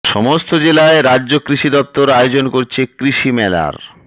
সমস্ত জেলায় রাজ্য কৃষি দপ্তর আয়োজন করছে কৃষি মেলার